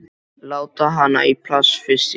Láta hana í plast fyrst í stað.